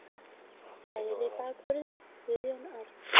Hægri bakvörður: Guðjón Árni.